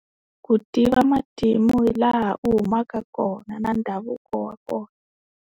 Ku tiva matimu hi laha u humaka kona na ndhavuko wa kona.